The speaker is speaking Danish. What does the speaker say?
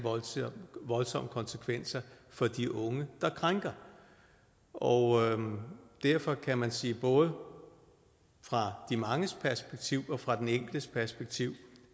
voldsomme konsekvenser for de unge der krænker og derfor kan man sige at både fra de manges perspektiv og fra den enkeltes perspektiv